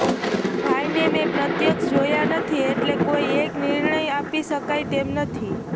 ભાઈને મેં પ્રત્યક્ષ જોયા નથી એટલે કોઈ એક નિર્ણય આપી શકાય તેમ નથી